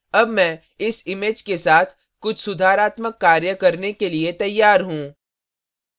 अब मैं इस image के साथ कुछ सुधारात्मक कार्य करने के लिए तैयार हूँ